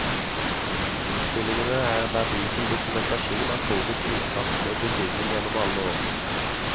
Innspillingene er en verdifull dokumentasjon av korets innsats og betydning gjennom alle år.